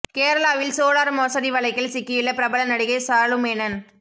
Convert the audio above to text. கேரளாவில் சோலார் மோசடி வழக்கில் சிக்கியுள்ள பிரபல நடிகை சாலுமேனன்